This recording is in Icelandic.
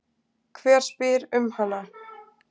Hver spyr um hana?